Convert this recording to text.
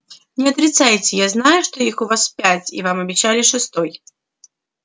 не отрицайте я знаю что их у вас пять и вам обещали шестой